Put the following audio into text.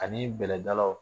Ani bɛlɛ dalaw